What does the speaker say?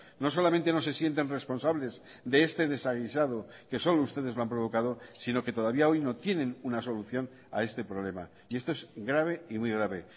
no solamente no se sienten responsables de este desaguisado que solo ustedes lo han provocado sino que todavía hoy no tienen una solución a este problema y esto es grave y muy grave